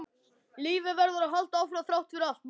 Lífið verður að halda áfram þrátt fyrir allt, manstu?